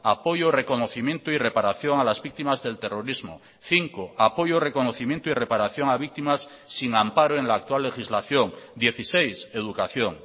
apoyo reconocimiento y reparación a las víctimas del terrorismo cinco apoyo reconocimiento y reparación a víctimas sin amparo en la actual legislación dieciséis educación